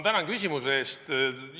Tänan küsimuse eest!